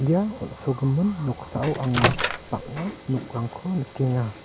ia on·sogimin noksao anga bang·a nokrangko nikenga.